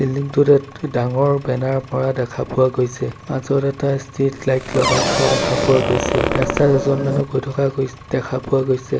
ডাঙৰ বেনাৰ মৰা দেখা পোৱা গৈছে মাজৰ এটা ষ্ট্ৰিট লাইট লগাই থোৱা দেখা পোৱা গৈছে ৰাস্তাত এজন মানুহ গৈ থকা গৈ দেখা পোৱা গৈছে।